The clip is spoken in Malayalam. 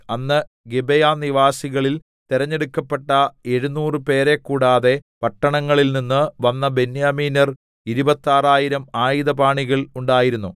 അന്ന് ഗിബെയാനിവാസികളിൽ തെരഞ്ഞടുക്കപ്പെട്ട എഴുനൂറ് പേരെ കൂടാതെ പട്ടണങ്ങളിൽനിന്ന് വന്ന ബെന്യാമീന്യർ ഇരുപത്താറായിരം ആയുധപാണികൾ ഉണ്ടായിരുന്നു